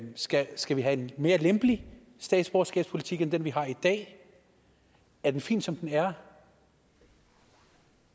skal skal vi have en mere lempelig statsborgerskabspolitik end den vi har i dag er den fin som den er